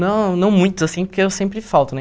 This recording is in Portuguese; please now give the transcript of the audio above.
Não não muitos, assim, porque eu sempre falto, né?